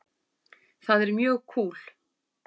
Það er mjög kúl.